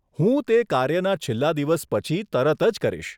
હું તે કાર્યના છેલ્લાં દિવસ પછી તરત જ કરીશ.